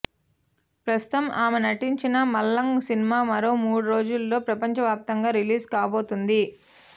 ప్రస్తుతం ఆమె నటించిన మలంగ్ సినిమా మరో మూడు రోజుల్లో ప్రపంచవ్యాప్తంగా రిలీజ్ కాబోతోంది